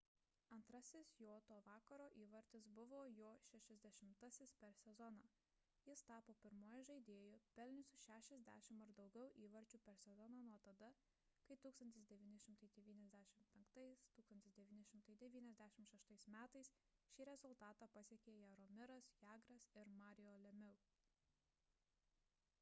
antrasis jo to vakaro įvartis buvo jo 60-asis per sezoną jis tapo pirmuoju žaidėju pelniusiu 60 ar daugiau įvarčių per sezoną nuo tada kai 1995–1996 m šį rezultatą pasiekė jaromiras jagras ir mario lemieux